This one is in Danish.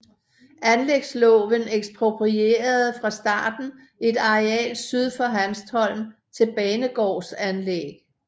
Anlægsloven eksproprierede fra starten et areal syd for Hanstholm til banegårdsanlæg